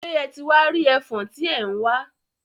Ṣe e ti wá rí ẹfọ̀n tí ẹ̀ ń wá?